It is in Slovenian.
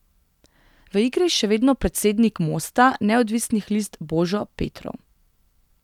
V igri je še vedno predsednik Mosta neodvisnih list Božo Petrov.